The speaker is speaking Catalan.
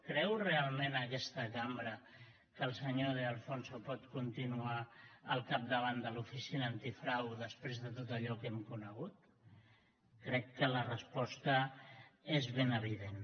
creu realment aquesta cambra que el senyor de alfonso pot continuar al capdavant de l’oficina antifrau després de tot allò que hem conegut crec que la resposta és ben evident